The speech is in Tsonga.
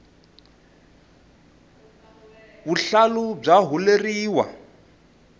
vuhlalu bya huleriwa